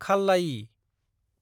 खाल्लायि